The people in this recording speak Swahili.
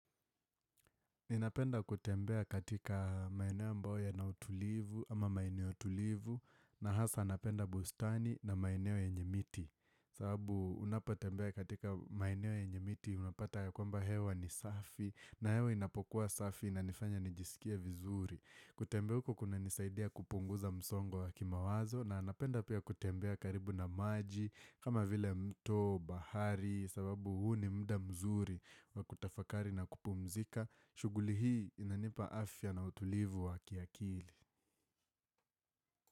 Ninapenda kutembea katika maeneo ambao yana utulivu ama maeneo utulivu na hasa napenda bustani na maeneo yenye miti. Sababu unapotembea katika maeneo yenye miti unapata ya kwamba hewa ni safi na hewa inapokuwa safi na nifanya nijisikia vizuri. Kutembea huko kuna nisaidia kupunguza msongo wa kima wazo na anapenda pia kutembea karibu na maji kama vile mto, bahari. Sababu huu ni muda mzuri wa kutafakari na kupumzika shughuli hii inanipa afya na utulivu wa kiakili.